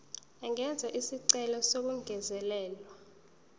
angenza isicelo sokungezelelwa